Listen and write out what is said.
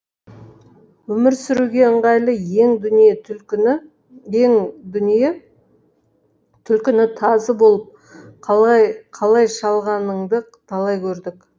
өмір сүруге ыңғайлы ең дүние түлкіні тазы болып қалай шалғаныңды талай көрдік